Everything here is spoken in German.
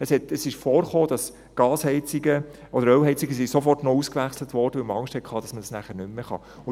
Es kam vor, dass Gasheizungen oder Ölheizungen sofort noch ausgewechselt wurden, weil man Angst hatte, dass man das nachher nicht mehr kann.